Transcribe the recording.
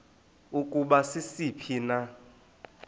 ukuba sisiphi na